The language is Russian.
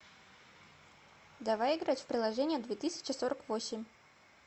давай играть в приложение две тысячи сорок восемь